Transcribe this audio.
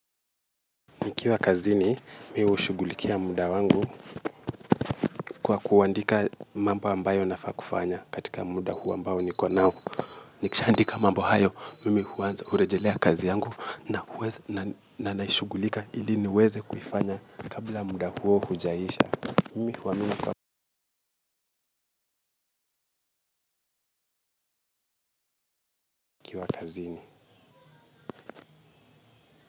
Nikiwa kazini, mi hushughulikia muda wangu kwa kuandika mambo ambayo nafaa kufanya katika muda huu ambao niko nao. Nikishaandika mambl hayo, mimi huanza hurejelea kazi yangu na nashughulika ili niweze kuifanya kabla muda huo hujaisha. Mimi huamini kwamba nikiwa kazini.